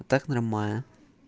так нормально